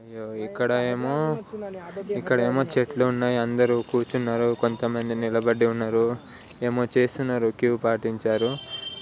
ఇక్కడ ఏమో ఇక్కడ ఏమో చెట్లు ఉన్నాయి. అందరూ కూర్చున్నారు.. కొంతమంది నిలబడి ఉన్నారు ఏమో చేస్తున్నారు క్యూ పాటించారు .